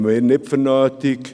Das halten wir nicht für nötig.